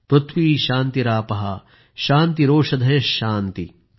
पृथ्वी शान्तिरापः शान्तिरोषधयः शान्तिः